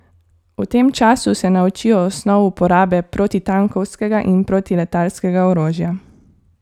V tem času se naučijo osnov uporabe protitankovskega in protiletalskega orožja.